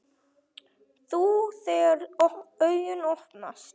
Þú, þegar augu opnast.